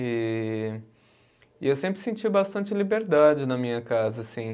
E e eu sempre senti bastante liberdade na minha casa, assim.